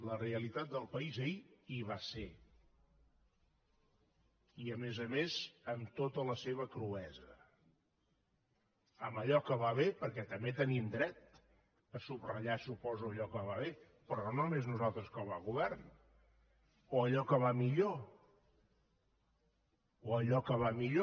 la realitat del país ahir hi va ser i a més a més amb tota la seva cruesa amb allò que va bé perquè també tenim dret a subratllar ho suposo allò que va bé però no només nosaltres com a govern o allò que va millor o allò que va millor